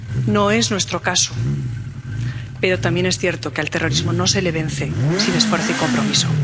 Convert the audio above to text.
No es nuestro caso, pero también es cierto que al terrorismo no se le vence sin esfuerzo y compromiso.